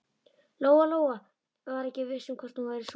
Lóa-Lóa var ekki viss um hvort hún væri sofandi.